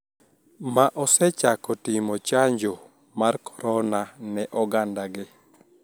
Ma osechako timo chanjo mar korona ne oganda gi